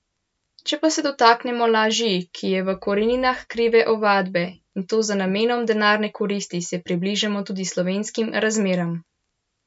Če pa se dotaknemo laži, ki je v koreninah krive ovadbe, in to z namenom denarne koristi, se približamo tudi slovenskim razmeram.